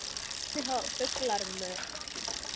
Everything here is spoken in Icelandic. og Hvernig hafa fuglar mök?